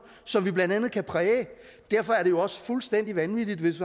som vi blandt andet kan præge derfor er det jo også fuldstændig vanvittigt hvis